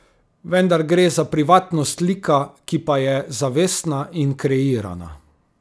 Vendar gre za privatnost lika, ki pa je zavestna in kreirana.